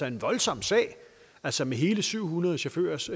en voldsom sag altså med hele syv hundrede chaufførers